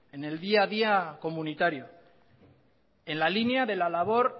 en el día a día comunitario en la línea de la labor